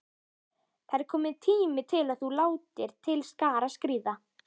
Það er kominn tími til að þú látir til skarar skríða.